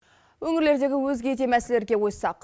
өңірлердегі өзге де мәселелерге қойсақ